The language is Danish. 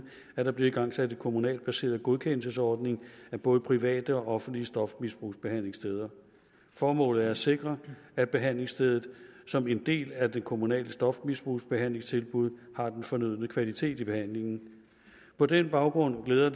at der bliver igangsat en kommunalt baseret godkendelsesordning af både private og offentlige stofmisbrugsbehandlingssteder formålet er at sikre at behandlingsstedet som en del af det kommunale stofmisbrugsbehandlingstilbud har den fornødne kvalitet i behandlingen på den baggrund glæder